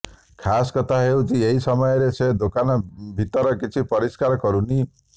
ଖାସ୍ କଥା ହେଉଛି ଏହି ସମୟରେ ସେ ଦୋକାନ ଭିତର କିଛି ଅପରିଷ୍କାର କରୁନି